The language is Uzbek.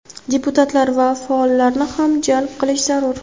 deputatlar va faollarni ham jalb qilish zarur.